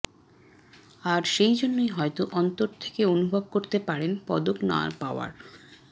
আর সেইজন্যই হয়ত অন্তর থেকে অনুভব করতে পারেন পদক না পাওয়ার